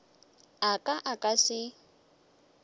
a ka a ka se